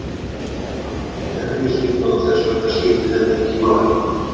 Ég hef aldrei unnið erfiðisvinnu, og þess vegna skiptir það ekki máli.